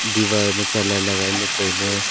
diwar ma colour lagailey tailey.